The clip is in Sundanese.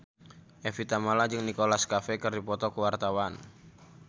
Evie Tamala jeung Nicholas Cafe keur dipoto ku wartawan